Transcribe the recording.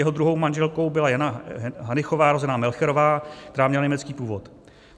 Jeho druhou manželkou byla Jana Hanychová, rozená Melcherová, která měla německý původ.